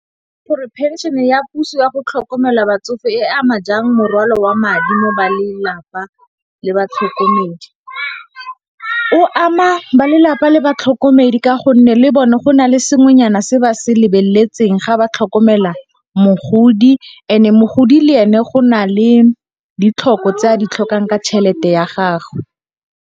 Gore phenšene ya puso ya go tlhokomela batsofe e ama jang morwalo wa madi mo ba lelapa le batlhokomedi? O ama ba lelapa le batlhokomedi ka gonne, le bone go na le sengwenyana se ba se lebeletsweng ga ba tlhokomela mogodi and mogodi le ene go na le ditlhoko tse a di tlhokang ka tšhelete ya gagwe.